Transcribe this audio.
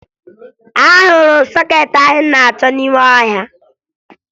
Ahụrụ m sọkeetị ahụ anyị na-achọ n'ime ọhịa